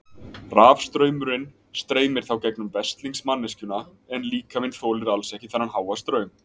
Rafstraumurinn streymir þá gegnum veslings manneskjuna en líkaminn þolir alls ekki þennan háa straum.